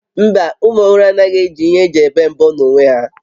Mba, ụmụ ọhụrụ anaghị eji ihe eji ebe mbọ n'onwe ha